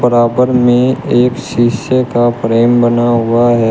बराबर में एक शीशे का फ्रेम बना हुआ है।